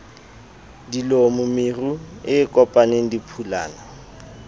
dilomo meru e kopaneng diphulana